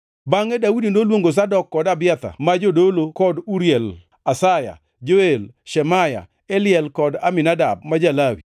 Bangʼe Daudi noluongo Zadok kod Abiathar ma jodolo kod Uriel, Asaya, Joel, Shemaya, Eliel kod Aminadab ma ja-Lawi.